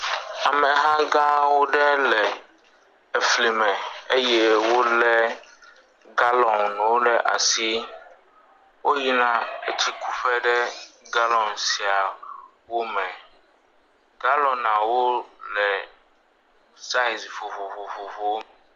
Ameha gã aɖewo le efli me eye wolé galɔnwo ɖe asi. Woyina ɖe etsi ku ƒe ɖe galɔn siawo me. Galɔnwo le saiz vovovowo.